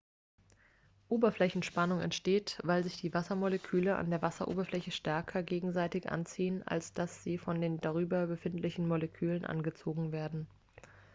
oberflächenspannung entsteht weil sich die wassermoleküle an der wasseroberfläche stärker gegenseitig anziehen als dass sie von den darüber befindlichen luftmolekülen angezogen werden